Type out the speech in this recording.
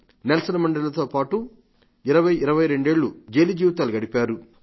Nelson మండేలాతో పాటుగా ఇరవై ఇరవై రెండేళ్లు జైలు జీవితాలు గడిపారు